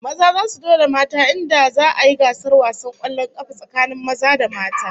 Maza zasu dole mata in da za'a yi gasar wasan kwallon kafa tsakanin maza da mata